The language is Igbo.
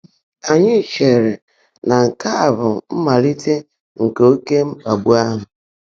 Ányị́ chèèrè ná nkè á bụ́ mmáliiité nkè óké mkpàgbú áhụ́.